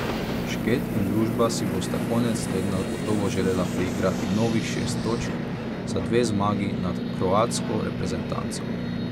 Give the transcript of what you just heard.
Šket in družba si bosta konec tedna gotovo želela priigrati novih šest točk za dve zmagi nad kroatsko reprezentanco.